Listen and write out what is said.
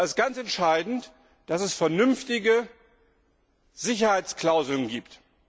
Da ist es ganz entscheidend, dass es vernünftige Sicherheitsklauseln gibt.